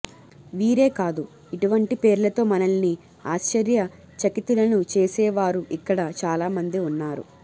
వీరే కాదు ఇటువంటి పేర్లతో మనల్ని ఆశ్చర్య చకితులను చేసేవారు ఇక్కడ చాలామంది వున్నారు